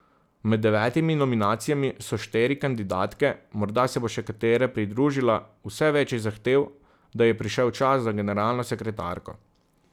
Med devetimi nominacijami so štiri kandidatke, morda se bo še katera pridružila, vse več je zahtev, da je prišel čas za generalno sekretarko.